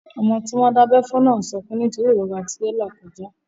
Ọmọ tí wọ́n dábẹ́ fún náà n sọkún nítorí ìrora tó n là kọjá